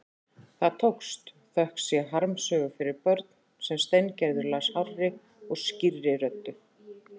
Það tókst, þökk sé harmsögu fyrir börn sem Steingerður las hárri og skýrri röddu.